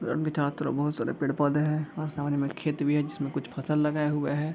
बहोत सारे पेड़-पौधे हैं और समाने में खेत भी है जिसमें कुछ फसल लगाये हुए हैं।